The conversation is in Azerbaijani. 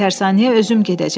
Tərsanəyə özüm gedəcəm.